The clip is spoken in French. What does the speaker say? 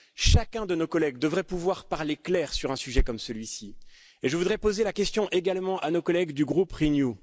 Chacun de nos collègues devrait pouvoir parler clair sur un sujet comme celui ci et je voudrais poser la question également à nos collègues du groupe Renew.